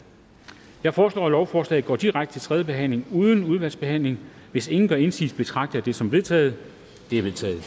jeg foreslår at lovforslaget går direkte til tredje behandling uden fornyet udvalgsbehandling hvis ingen gør indsigelse betragter jeg det som vedtaget det er vedtaget